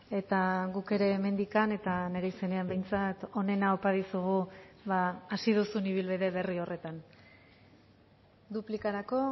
eta guk ere hemendik eta nire izenean behintzat onena opa dizugu hasi duzun ibilbide berri horretan duplikarako